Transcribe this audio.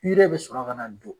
bɛ sɔrɔ kana don.